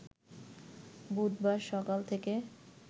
বুধবার সকাল থেকে